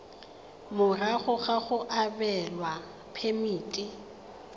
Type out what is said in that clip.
morago ga go abelwa phemiti